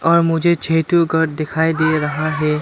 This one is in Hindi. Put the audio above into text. और मुझे छे ठो घर दिखाई दे रहा है।